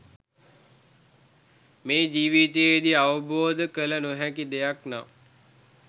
මේ ජීවිතයේදී අවබෝධ කළ නොහැකි දෙයක් නම්